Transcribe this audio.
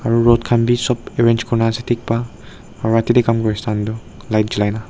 aru rot khan bhi sab arrange kori kina dekh pai aru jatte kam kori insam tu light julai dekh pai.